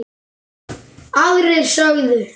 Aðrir sögðu: